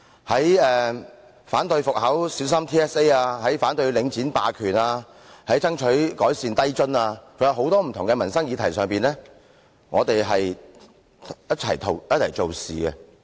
在反對復考小三 TSA 和領展霸權、爭取改善低津等很多不同的民生議題上，我們一起做事。